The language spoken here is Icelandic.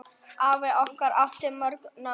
Afi okkar átti mörg nöfn.